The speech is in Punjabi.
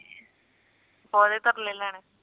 ਕੋਨੀ ਤਰਲੇ ਲੈਣੇ